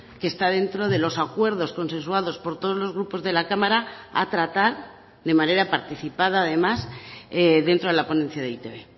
que está dentro de los acuerdos consensuados por todos los grupos de la cámara a tratar de manera participada además dentro de la ponencia de e i te be